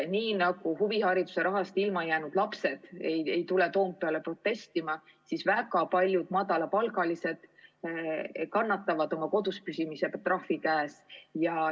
Nii nagu huvihariduse rahast ilma jäänud lapsed ei tule Toompeale protestima, kannatavad ka väga paljud madalapalgalised inimesed kodus püsides selle trahvi ära.